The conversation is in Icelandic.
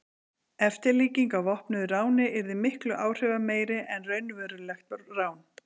eftirlíking af vopnuðu ráni yrði miklu áhrifameiri en raunverulegt rán